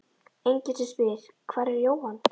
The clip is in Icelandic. Enginn sem spyr: Hvar er Jóhann?